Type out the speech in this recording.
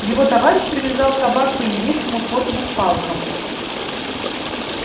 его товарищ привязал собак по индейскому способу к палкам